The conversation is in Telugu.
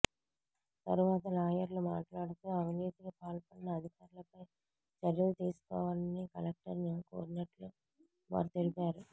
తరువాత లాయర్లు మాట్లాడుతూ అవినీతికి పాల్పడిన అధికారులపై చర్యలు తీసుకోవాలని కలెక్టర్ ను కోరినట్లు వారు తెలిపారు